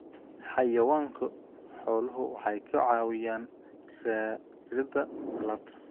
Xayawaanka xooluhu waxay ka caawiyaan raridda alaabta.